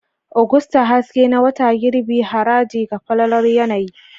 Agusta, haske na wata girbi, haraji ga falalar yanayi.